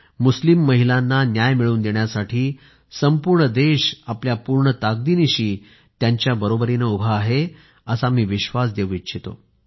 मुस्लिम महिलांना न्याय मिळवून देण्यासाठी संपूर्ण देश आपल्या पूर्ण ताकदीनिशी त्यांच्याबरोबरीने उभा आहे असा मी विश्वास देऊ इच्छितो